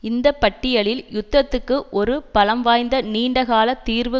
இந்த பட்டியலில் யுத்தத்துக்கு ஒரு பலம்வாய்ந்த நீண்ட கால தீர்வு